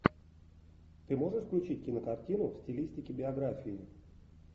ты можешь включить кинокартину в стилистике биографии